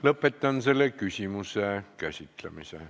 Lõpetan selle küsimuse käsitlemise.